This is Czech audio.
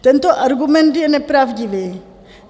Tento argument je nepravdivý.